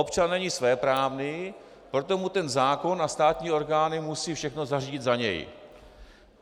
Občan není svéprávný, proto mu ten zákon a státní orgány musí všechno zařídit za něj.